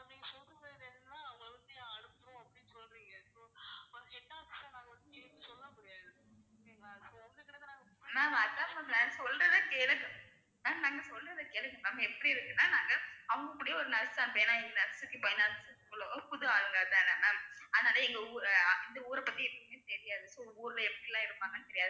ma'am அதான் ma'am நான் சொல்றதை கேளுங்க ma'am நாங்க சொல்றதை கேளுங்க ma'am எப்படி இருக்குன்னா நாங்க அவங்க கூடவே ஒரு புது ஆளுங்கதானே ma'am அதனால எங்க ஊரு இந்த ஊரை பத்தி எதுவுமே தெரியாது so ஊர்ல எப்படிலாம் இருப்பாங்கன்னு தெரியாது.